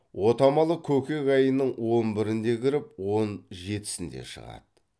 отамалы көкек айының он бірінде кіріп он жетісінде шығады